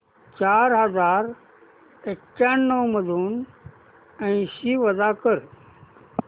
चार हजार एक्याण्णव मधून ऐंशी वजा कर